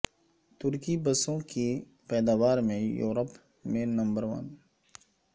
ترکی بسوں کی پیداوار میں یورپ میں نمبر ون